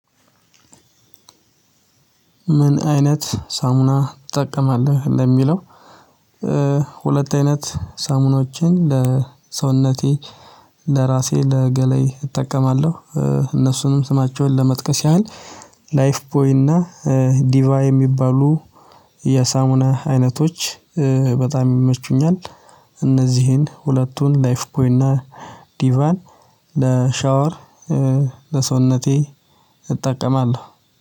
ምን አይነት ሳሙና ትጠቀማለህ ለሚለው? ሁለት አይነት ሳሙኖችን ለሰውነቴ ለራሴ ለገላዬ እጠቀማለሁ እነሱንም ስማቸውን ለመጥቀስ ያህል ላይፍ ቦይ እና ዲቫ የሚባሉ የሳሙና አይነቶች በጣም ይመቹኛል። እነዚህን ሁለቱን ላይፍ ቦይ እና ዲቫን ለሻወር ለሰውነቴ እጠቀማለሁ።